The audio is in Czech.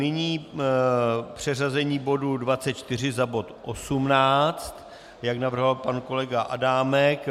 Nyní přeřazení bodu 24 za bod 18, jak navrhoval pan kolega Adámek.